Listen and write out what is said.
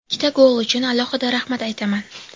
Ikkita gol uchun alohida rahmat aytaman.